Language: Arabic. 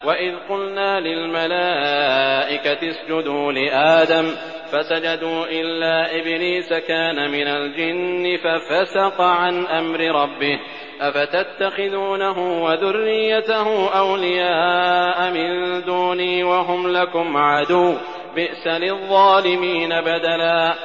وَإِذْ قُلْنَا لِلْمَلَائِكَةِ اسْجُدُوا لِآدَمَ فَسَجَدُوا إِلَّا إِبْلِيسَ كَانَ مِنَ الْجِنِّ فَفَسَقَ عَنْ أَمْرِ رَبِّهِ ۗ أَفَتَتَّخِذُونَهُ وَذُرِّيَّتَهُ أَوْلِيَاءَ مِن دُونِي وَهُمْ لَكُمْ عَدُوٌّ ۚ بِئْسَ لِلظَّالِمِينَ بَدَلًا